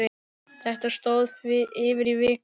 Þetta stóð yfir í viku.